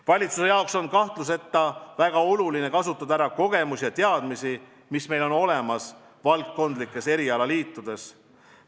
Valitsuse jaoks on kahtluseta väga oluline kasutada ära kogemusi ja teadmisi, mis meil on olemas valdkondlikes erialaliitudes.